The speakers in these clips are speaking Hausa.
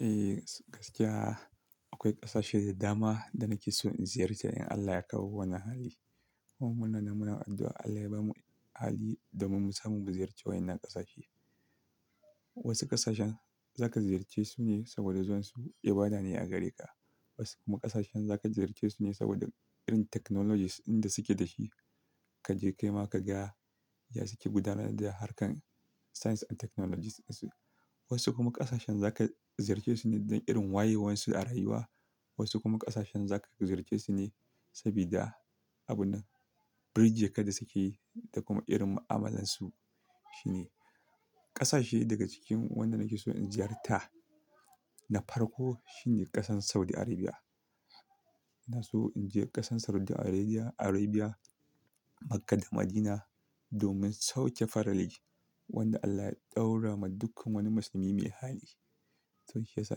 Eh gaskiya akwai ƙasashe da dama da nake so in ziyarce in Allah ya kawo wani hali. Kuma muna nan muna addu'a Allah ya ba mu hali domin mu samu ziyarce wa'yannan ƙasashe. Wasu ƙasashen za ka ziyarce su ne saboda zuwan su ibada ne a gare ka. Wasu kuma ƙasashen za ka ziyarce su ne saboda irin technologies inda suke da shi. Ka je kai ma ka ga ya suke gudanar da harkarn science and technologies su. Wasu kuma ƙasashen za ka ziyarce su ne don irin wayewansu a rayuwa. Wasu kuma ƙasashen za ka ziyarce su ne sabida abun bridge kadai suke yi da kuma irin ma'amalarsu shine. Ƙasashe daga cikin wanda nake so in ziyarta na farko shine ƙasar Saudi Arabia. Ina so in je ƙasar Saudi Arabia, Arabia Makkah da Madina domin sauke farali wanda Allah ya ɗaura ma dukkan wani musulmi mai hali. To shi ya sa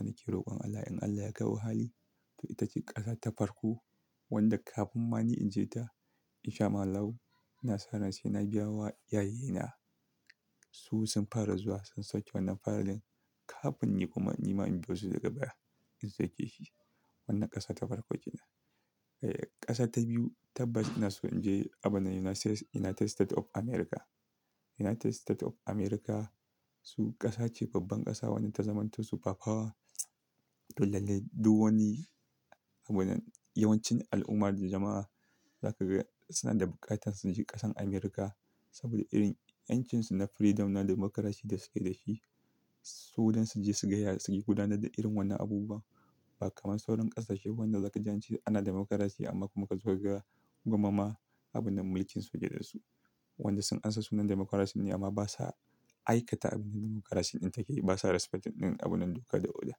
nake rokon Allah in Allah ya kawo hali. To ita ce ƙasa ta farko wanda kafin ma ni in je ta in sha ma Alllahu, ina saran sai na biya wa iyayye na. Su sun fara zuwa sun sauke wannan faralin kafin ni kuma ni ma in biyo su daga baya in sauke shi. Wannan ƙasa ta farko kenan. Eh ƙasa ta biyu tabbas ina so in je abun nan United State of America. United State of America su ƙasa ce babban ƙasa wanda ta zamanto superpower. To lallai duk wani yawancin al'umma da jama'a za ka ga suna da buƙatar su je ƙasar America saboda irin 'yancinsu na freedom na dimokurasi da suke da shi. Su don su je su gaya suke gudanar da irin wannan abubuwa ba kamar sauran ƙasashe wanda za ka ji an ce ana dimokurasi amma kuma ka zo ka ga gwamama abunan mulkin suje da su. Wanda sun ansa sunan dimokurasin ne amma basa aikata abin dimokrasi in take. Basa respecting abunan doka da oda.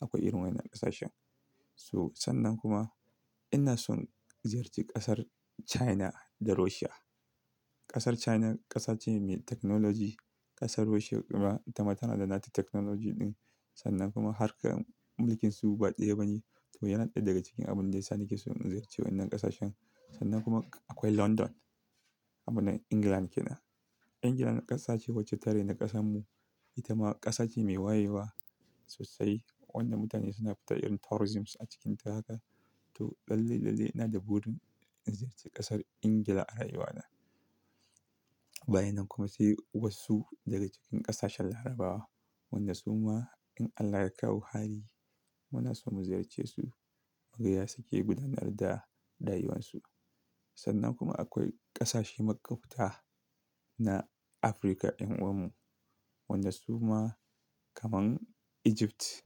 Akwai irin wannan ƙasashen. To sannan kuma ina son ziyarci ƙasar China da Russia. Ƙasar China ƙasa ce mai technology. Ƙasar Russia kuma ita ma tana da nata technology ɗin. Sannan kuma harkar mulkinsu ba daya ba ne. To yana ɗaya daga cikin abun da ya sa nake so in ziyarci wannan ƙasashen. Sannan kuma akwai London abun nan England kenan. England ƙasa ce wacce tareni ƙasanmu ita ma ƙasa ce mai wayewa sosai wadda mutane suna fita irin tourisms a cikinta haka. To lalle, lalle ina da burin in ziyarci ƙasar ingila a rayuwa na. Bayan nan kuma sai wasu daga cikin ƙasashen Larabawa wanda su ma in Allah ya kawo hali muna so mu ziyarce su. Mu ga ya suke gudanar da rayuwansu. Sannan kuma akwai ƙasashe makwafta na Afirka 'yan uwanmu wanda su ma kaman Egypt.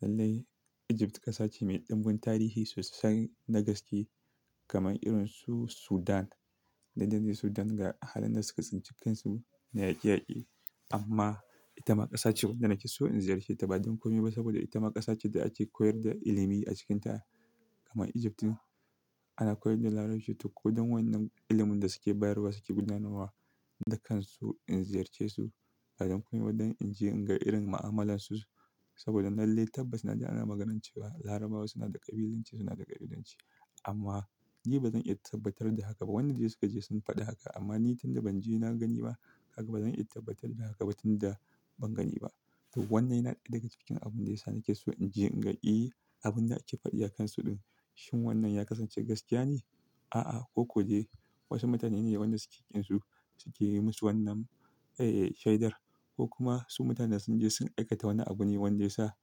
Lallai Egypt ƙasa ce mai ɗumbun tarihi sosai na gaske kamar irin su Sudan. Dan dan ne Sudan ga halin da suka tsinci kansu na yaƙeyaƙe amma ita ma ƙasa ce wadda nake so in ziyarce ta ba don komai ba saboda ita ma ƙasa ce da ake koyar da ilimi a cikinta kamar Egypt ɗin. Ana koyar da larabci to ko don wannan ilimin da suke bayarwa suke gudanarwa da kansu in ziyarce su ba don komai ba don in je in ga irin ma'amalansu su. Saboda lallai tabbas na ji ana maganancewa Larabawa suna da ƙabilanci suna da ƙariɗanci. Amma ni bazan iya tabbatar da haka ba wanda dai suka je sun fadi haka amma ni tunda banje. Na gani ba kaga bazan iya tabbatar da haka ba tunda ban gani ba to wannan yana ɗaya daga cikin abun da ya sa nake so in je in ga, "Eh abun da ake faɗi a kansu ɗin shin wannan ya kasance gaskiya ne?" a a ko ko dai wasu mutane ne wanda suke kin su suke musu wannan shedar ko kuma mutanen sunje sun ai kata wani abun ne wanda yasa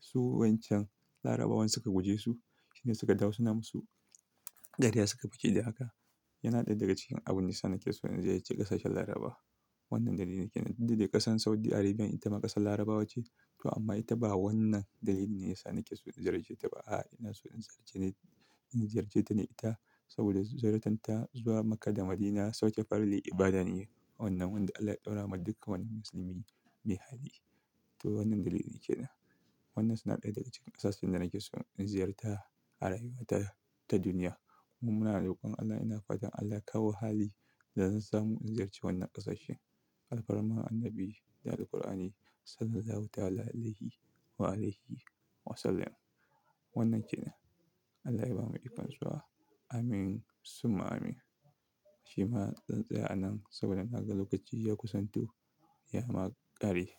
su wancan Larabawan suka guje su shine suka dawo suna musu dariya suka fake da haka. Yana ɗaya daga cikin abun da ya sa nake so in ziyarci ƙasashen Laraba. Wannan dalili ne kenan. Duk da dai ƙasar Saudi Arabia ita ma ƙasar Larabawa ce to amma ita ba wannan dalili ne ya sa nake so in ziyarce ta ba. Ah ina son in ziyarce ta ne ita saboda ziyar tarta zuwa makka da madina sauke farali ibada ne wanda Allah ya daura ma duk wani musulmi mai hali to wannan dalili kenan. Wannan suna ɗaya daga cikin ƙasashen da nake so in ziyarta a rayuwa ta, ta duniya. Kuma muna rokon Allah ina fatan Allah ya kawo hali da zan samu in ziyarci wannan ƙasashen. Alfaraman Annabi da Alqur'ani Sallallahu Ta'ala Alayhi wa alihi wa sallam. Wannan kenan. Allah ya ba mu zuwa. Amin summa amin. Shima zan tsays anan saboda naga lokaci ya kusanto ya ma ƙare.